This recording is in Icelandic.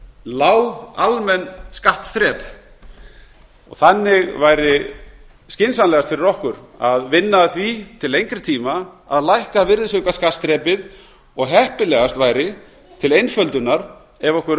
lág almenn skattþrep og þannig væri skynsamlegast fyrir okkur að vinna að því til lengri tíma að lækka virðisaukaskattsþrepið og heppilegast væri til einföldunar ef okkur